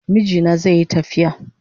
Mijina zaiyi tafiya